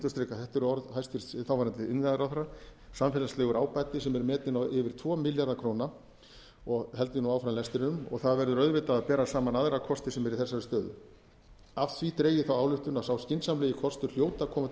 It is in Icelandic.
eru orð hæstvirts þáv iðnaðarráðherra samfélagslegur ábati sem er metinn á yfir tvo milljarða króna og held ég nú áfram lestrinum það verður auðvitað að bera saman aðra kosti sem eru í þessari stöðu af því dreg ég þá ályktun að sá skynsamlegi kostur hljóti að koma til